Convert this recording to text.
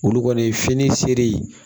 Olu kɔni ye fini seri